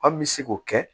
An bɛ se k'o kɛ